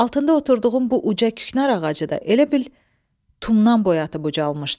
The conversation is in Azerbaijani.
Altında oturduğum bu uca küknar ağacı da elə bil tumdan boyatıb ucalmışdı.